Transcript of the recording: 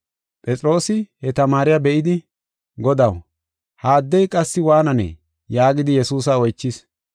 Phexroosi he tamaariya be7idi, “Godaw, ha addey qassi waananee?” yaagidi Yesuusa oychis.